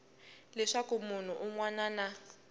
leswaku munhu un wana na